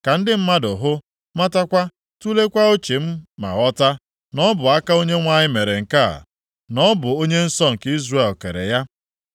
ka ndị mmadụ hụ, matakwa, tuleekwa uche ma ghọta, na ọ bụ aka Onyenwe anyị mere nke a, na ọ bụ Onye nsọ nke Izrel kere ya.